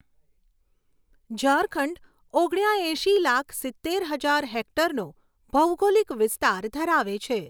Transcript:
ઝારખંડ ઓગણ્યાએંશી લાખ સિત્તેર હજાર હેક્ટરનો ભૌગોલિક વિસ્તાર ધરાવે છે.